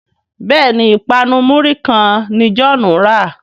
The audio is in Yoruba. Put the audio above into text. Béèni ipanu muri kán ní John rà.